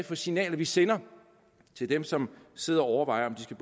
for signaler vi sender til dem som sidder og overvejer om de skal